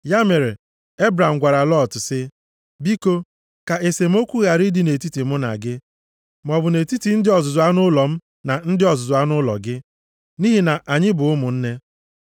Ya mere Ebram gwara Lọt sị, “Biko, ka esemokwu ghara ịdị nʼetiti mụ na gị, maọbụ nʼetiti ndị ọzụzụ anụ ụlọ m na ndị ọzụzụ anụ ụlọ gị, nʼihi na anyị bụ ụmụnne.